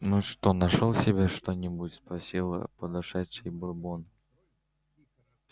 ну что нашёл себе что-нибудь спросил подошедший бурбон